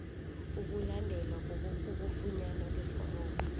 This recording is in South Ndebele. ukulandela ukufunyanwa kweforomo